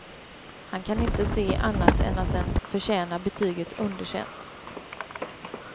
Han kan inte se annat än att den förtjänar betyget underkänt.